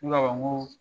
Ne b'a fɔ n ko